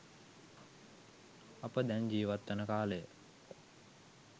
අප දැන් ජීවත්වන කාලය